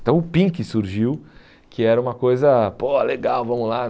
Então o Pink surgiu, que era uma coisa pô legal, vamos lá.